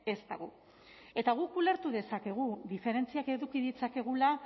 ez dago eta guk ulertu dezakegu diferentziak eduki ditzakegula